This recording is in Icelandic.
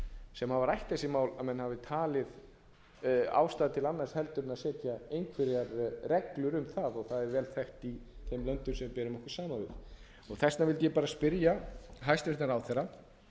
sem hafa rætt þessi mál að menn hafi talið ástæðu til annars en að setja einhverjar reglur um það og það er vel þekkt í þeim löndum sem við berum okkur saman við þess vegna vildi ég bara spyrja hæstvirtan ráðherra